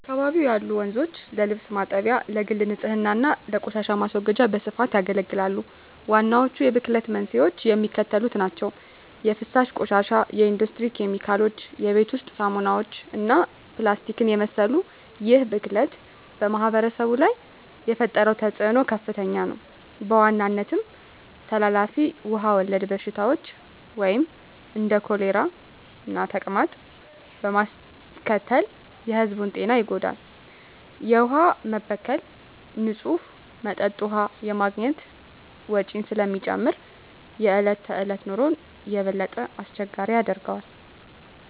በአካባቢው ያሉ ወንዞች ለልብስ ማጠቢያ፣ ለግል ንፅህና እና ለቆሻሻ ማስወገጃ በስፋት ያገለግላሉ። ዋናዎቹ የብክለት መንስኤዎች የሚከተሉት ናቸው - 1) የፍሳሽ ቆሻሻ 2) የኢንዱስትሪ ኬሚካሎች 3) የቤት ውስጥ ሳሙናዎች እና ፕላስቲክን የመሰሉ ይህ ብክለት በማኅበረሰቡ ላይ የፈጠረው ተፅዕኖ ከፍተኛ ነው፤ በዋናነትም ተላላፊ ውሃ ወለድ በሽታዎችን (እንደ ኮሌራና ተቅማጥ) በማስከተል የሕዝቡን ጤና ይጎዳል። የውሃ መበከል ንፁህ መጠጥ ውሃ የማግኘት ወጪን ስለሚጨምር የዕለት ተዕለት ኑሮን የበለጠ አስቸጋሪ ያደርገዋል።